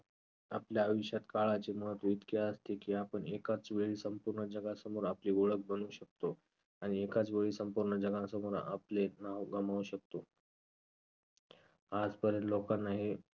आपल्या आयुष्यात काळाचे महत्त्व इतके असते की आपण एकाच वेळी संपूर्ण जगासमोर आपली ओळख बनवू शकतो आणि एकाच वेळी संपूर्ण जगासमोर आपले नाव गमावू शकतो. आजपर्यंत लोकांना हे